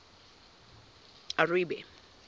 aribe